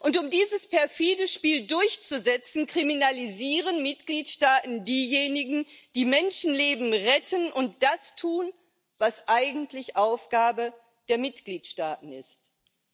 Und um dieses perfide Spiel durchzusetzen, kriminalisieren Mitgliedstaaten diejenigen, die Menschenleben retten und das tun, was eigentlich Aufgabe der Mitgliedstaaten ist